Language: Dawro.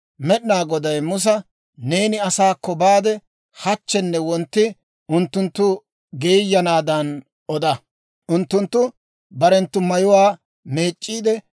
Med'inaa Goday Musa, «Neeni asaakko baade hachchenne wontti unttunttu geeyanaadan oda. Unttunttu barenttu mayuwaa meec'c'iide;